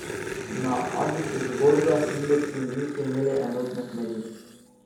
Na azijskih borzah indeksi niso imeli enotne smeri.